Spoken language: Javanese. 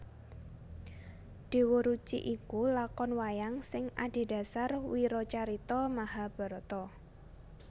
Déwa Ruci iku lakon wayang sing adhedhasar wiracarita Mahabharata